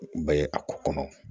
Bɛ a ko kɔnɔ